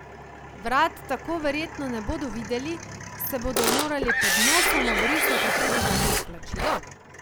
Vrat tako verjetno ne bodo videli, se bodo morali pod nosom obrisati tudi za predplačilo?